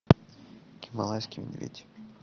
гималайский медведь